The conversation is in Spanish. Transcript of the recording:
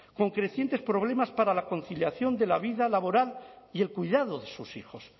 con crecientes problemas para la conciliación de la vida laboral y el cuidado de sus hijos